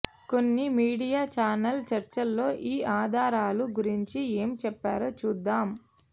కొన్ని media channel చర్చల్లో ఈ ఆధారాలు గురించి ఏం చెప్పారో చూద్దాం